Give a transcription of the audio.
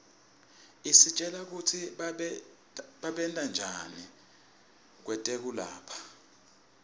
isitjela kutsi babentanjani kwetekulapha